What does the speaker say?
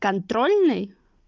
контрольный